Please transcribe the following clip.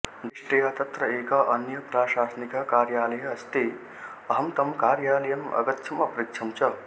दिष्टया तत्र एकः अन्यः प्रशासनिकः कार्यालयः अस्ति अहं तं कार्यालयम् अगच्छम् अपृच्छम् च